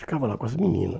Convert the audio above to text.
Ficava lá com as menina.